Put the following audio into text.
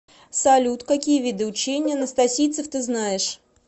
салют какие виды учение анастасийцев ты знаешь